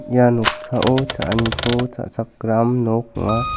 ia noksao cha·aniko cha·chakram nok ong·a.